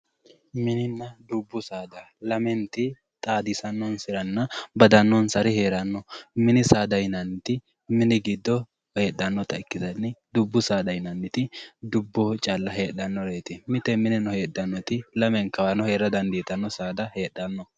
Mininna dubbu saada lamenta xaadisanonsarinna badanonsari no, mini saada yinnanniti mini giddo heedhanotta ikkittanna ,dubboho heedhanoti dubboho calla heedhanote, mite lamenkawa heedhanotino heedhano